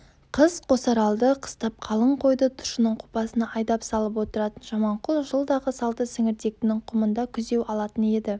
қыс қосаралды қыстап қалың қойды тұщының қопасына айдап салып отыратын жаманқұл жылдағы салты сіңіртектінің құмында күзеу алатын еді